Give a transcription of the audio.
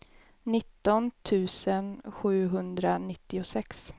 nitton tusen sjuhundranittiosex